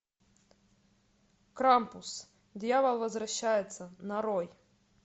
крампус дьявол возвращается нарой